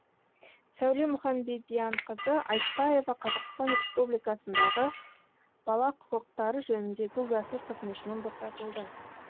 сәуле мұханбедианқызы айтпаева қазақстан республикасындағы бала құқықтары жөніндегі уәкіл қызметінен босатылды